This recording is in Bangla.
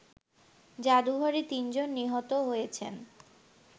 জাদুঘরে তিনজন নিহত হয়েছেন